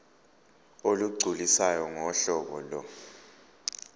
olugculisayo ngohlobo lo